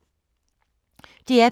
DR P2